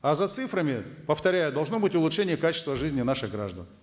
а за цифрами повторяю должно быть улучшение качества жизни наших граждан